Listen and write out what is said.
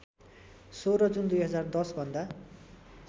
१६ June २०१० भन्दा